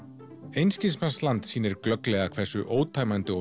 einskismannsland sýnir glögglega hversu ótæmandi og